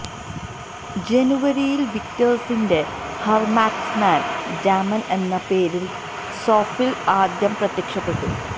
ജനുവരിയിൽ വിക്ടർസിന്റെ ഹെൻമാക്മാൻ ഡാമൻ എന്ന പേരിൽ സോഫിൽ ആദ്യം പ്രത്യക്ഷപ്പെട്ടു